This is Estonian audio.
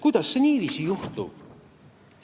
Kuidas saab niiviisi juhtuda?